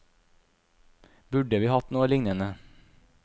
Burde vi hatt noe lignende?